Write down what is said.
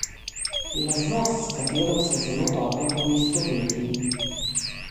Lastnost, s katero se zelo dobro poistovetim!